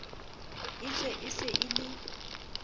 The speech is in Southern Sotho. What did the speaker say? etswe o se o le